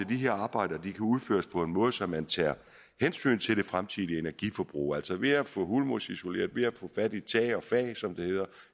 de her arbejder kan udføres på en måde så man tager hensyn til det fremtidige energiforbrug altså ved at få hulmursisoleret ved at få fat i tag og fag som det hedder